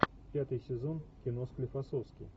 пятый сезон кино склифосовский